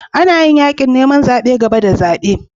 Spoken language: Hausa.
Ana yin yakin neman zabe gaba da zabe.